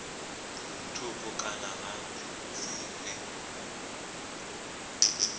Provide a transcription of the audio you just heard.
thukhu kana ha si vhe